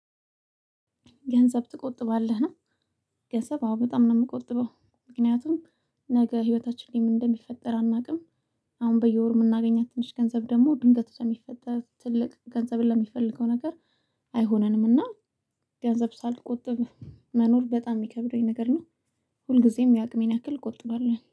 ገንዘብ ትቆጥባልህ ነው? ገንዘብ አዎ በጣም ነው የምቆጥበው ምክንያቱም ነገ ህይወታችን ላይ ምን እንደሚፈጠር አናውቅም። አሁን በየወሩ የምናገኛት ትንሽ ገንዘብ ደግሞ ድንገት ለሚፈጠር ትልቅ ገንዘብ ለሚፈልገው ነገር አይሆነንም። እና ገንዘብ ሳልቆጥብ መኖር በጣም የሚከብደኝ ነገር ነው። ሁልጊዜም የአቅሜን ያክል እቆጥባለሁኝ